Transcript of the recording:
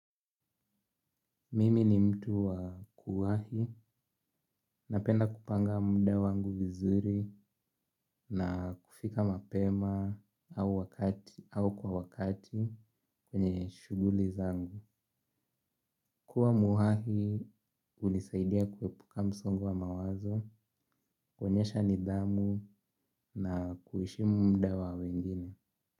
Mimi ni mtu wa kuwahi, napenda kupanga muda wangu vizuri na kufika mapema au kwa wakati kwenye shuguli zangu. Kuwa muwahi, unisaidia kuwepuka msongo wa mawazo, kwenyesha nidhamu na kuheshimu muda wa wengine.